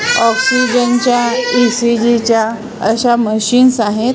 Oxygen च्या E C G च्या अश्या मशीन्स आहेत.